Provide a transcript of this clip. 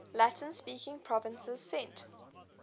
latin speaking provinces sent